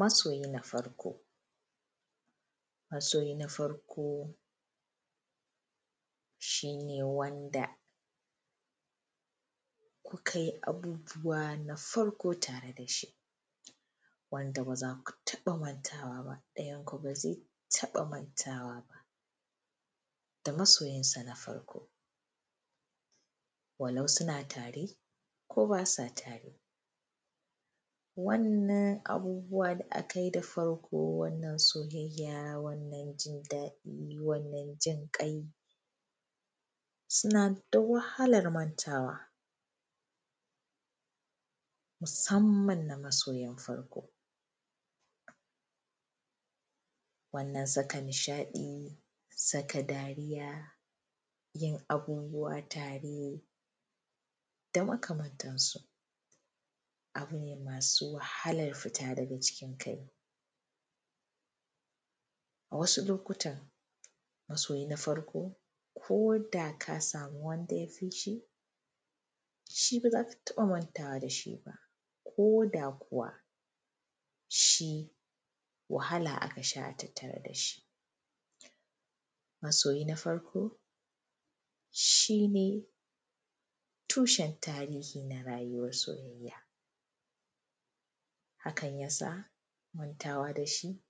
masoyi na farko masoyi na farko shine wanda ku ka yi abubuwa na farko tare da shi Wanda ba za ku taɓa mantawa ba ɗayanku ba zai taɓa mantawa ba da masoyan sa na farko walau suna tare ko ba sa tare wannan abubuwa da akayi da farko wannan soyayya wannan jin daɗin wannan jin ƙai sunna da wahalar mantawa musamman na masoyan farko wannan sa ka nishaɗi saka dariya yin abubuwa tare da maka mantansu abu ne masu wahalar fita daga cikin kai a wasu lokotan masoyi na farko ko da ka samu wanda ya fi shi ba za ka taɓa mantawa da shi ba ko da kuwa shi wahala a ka sha tattar da shi masoyi na farko shine tushen tarihi na rayuwan soyayya hakan ya sa mantawa da shi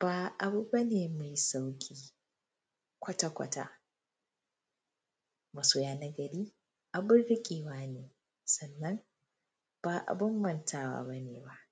ba abu ba ne mai sauki kwata kwata masoyi nagari abun rike wa ne sannan ba bun mantawa ba ne ba